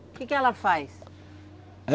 O que que ela faz?